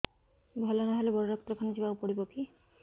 ଭଲ ନହେଲେ ବଡ ଡାକ୍ତର ଖାନା ଯିବା କୁ ପଡିବକି